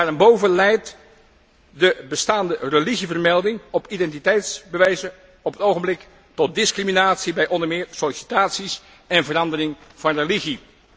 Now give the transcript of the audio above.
Daarenboven leidt de bestaande religievermelding op identiteitsbewijzen op het ogenblik tot discriminatie bij onder meer sollicitaties en verandering van religie.